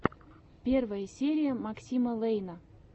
первая серия максима лэйна